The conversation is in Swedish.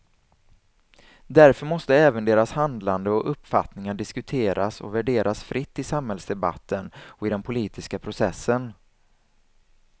Därför måste även deras handlande och uppfattningar diskuteras och värderas fritt i samhällsdebatten och i den politiska processen.